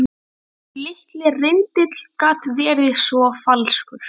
Þessi litli rindill gat verið svo falskur.